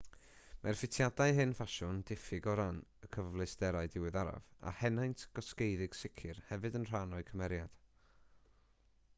mae'r ffitiadau hen ffasiwn diffyg o ran y cyfleusterau diweddaraf a henaint gosgeiddig sicr hefyd yn rhan o'u cymeriad